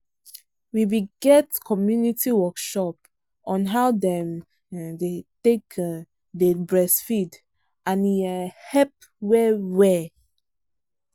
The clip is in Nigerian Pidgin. we be get community workshop on how them um take um day breastfeed and e um help well well.